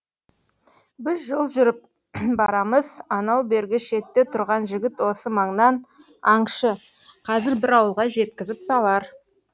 біз жол жүріп барамыз анау бергі шетте тұрған жігіт осы маңнан аңшы қазір бір ауылға жеткізіп салар